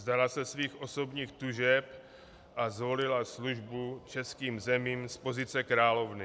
Vzdala se svých osobních tužeb a zvolila službu českým zemím z pozice královny.